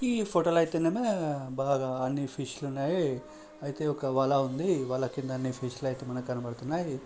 ఈ ఫోటో లో అయితేనేమో బాగా అన్ని ఫిష్ లున్నాయి అయితే ఒక వల ఉందివల కింద అన్ని ఫిష్ లయితే మనకి కనబడుతున్నాయి.